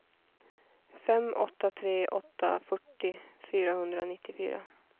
fem åtta tre åtta fyrtio fyrahundranittiofyra